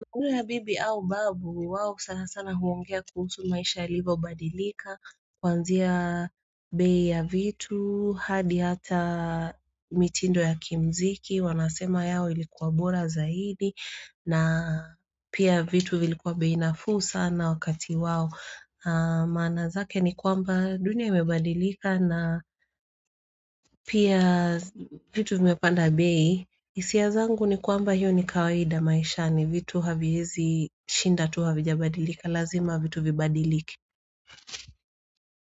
Unu ya bibi au babu wao sana sana huongea kuhusu maisha ilivo badilika Kwanzia bei ya vitu hadi hata mitindo ya kimziki wanasema yao ilikuwa bora zaidi na pia vitu vilikuwa bei nafuu sana wakati wao maana zake ni kwamba dunia imebadilika na pia vitu vimepanda bei isia zangu ni kwamba hiyo ni kawaida maisha ni vitu haviyezi shinda tu havi jabadilika lazima vitu vibadiliki.